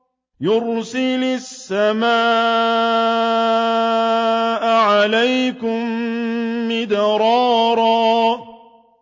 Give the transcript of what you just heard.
يُرْسِلِ السَّمَاءَ عَلَيْكُم مِّدْرَارًا